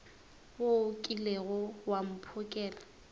wo o kilego wa mphokela